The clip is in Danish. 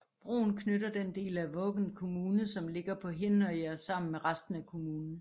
Broen knytter den del af Vågan kommune som ligger på Hinnøya sammen med resten af kommunen